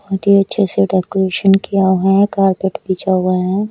बहोत ही अच्छे से डेकोरेशन किया हुआ है कारपेट बिछा हुआ है।